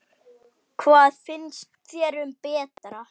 Hvað finnst þér um Berta?